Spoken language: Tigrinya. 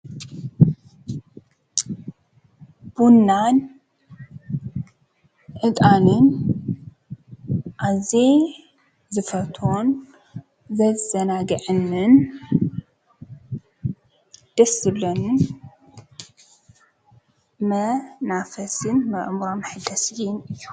ቡናን ዕጣንን ኣዝየ ዝፈትዎን ዘዘናግዕንን ደስ ዝብለንን መናፈስን ኣእምሮ መሐደስየይን እዩ።